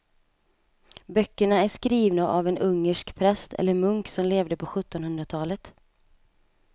Böckerna är skrivna av en ungersk präst eller munk som levde på sjuttonhundratalet.